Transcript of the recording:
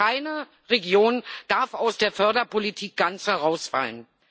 Keine Region darf aus der Förderpolitik ganz herausfallen.